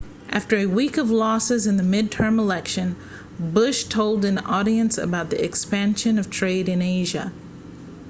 after a week of losses in the midterm election bush told an audience about the expansion of trade in asia